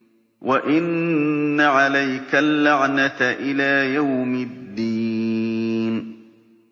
وَإِنَّ عَلَيْكَ اللَّعْنَةَ إِلَىٰ يَوْمِ الدِّينِ